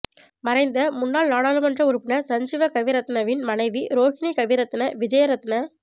மறைந்த முன்னாள் நாடாளுமன்ற உறுப்பினர் சஞ்சீவ கவிரத்னவின் மனைவி ரோஹினி கவிரத்ன விஜேரத்ன